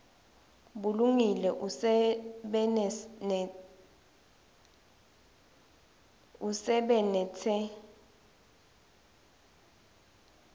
bulungile usebenitse